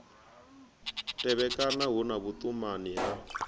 tevhekana hu na vhuṱumani ha